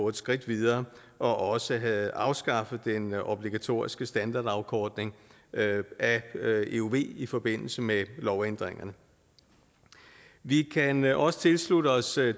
et skridt videre og også havde afskaffet den obligatoriske standardafkortning af euv i i forbindelse med lovændringerne vi kan også tilslutte os